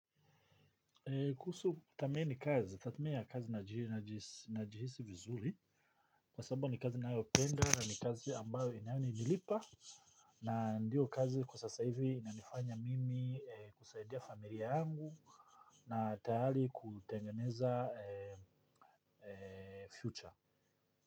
Kuhusu kuthamini kazi, tatumia kazi najihisi vizuri. Kwa sababu ni kazi ninayopenda na ni kazi ambayo inayonilipa. Na ndiyo kazi kwa sasa hivi inanifanya mimi kusaidia familia yangu. Na tayari kutengeneza future.